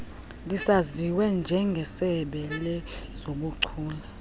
lisaziwe njengesebe lezobuchule